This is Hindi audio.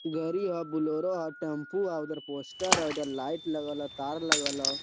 गाड़ी ह बलेरो ह टेम्पू ह उधर पोस्टर ह उधर लाइट लगल ह तार लगल ह।